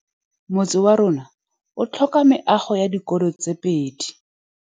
Motse warona o tlhoka meago ya dikolô tse pedi.